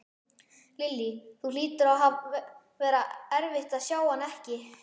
Lillý: Það hlýtur að vera erfitt að sjá hana ekki?